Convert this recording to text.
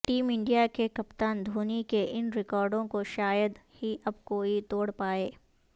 team India کے کپتان دھونی کے ان ریکارڈوں کو شاید ہی اب کوئی توڑ پائے